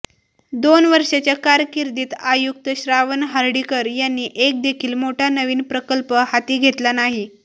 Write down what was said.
दोन वर्षाच्या कारकिर्दीत आयुक्त श्रावण हर्डीकर यांनी एक देखील मोठा नवीन प्रकल्प हाती घेतला नाही